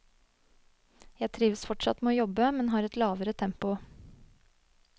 Jeg trives fortsatt med å jobbe, men har et lavere tempo.